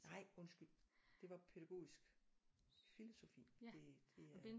Nej undskyld det var pædagogisk filosofi det det er